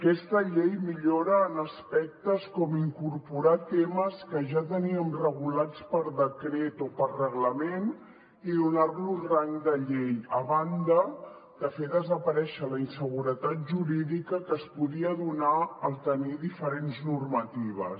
aquesta llei millora aspectes com incorporar temes que ja teníem regulats per decret o per reglament i donar los rang de llei a banda de fer desaparèixer la inseguretat jurídica que es podia donar al tenir diferents normatives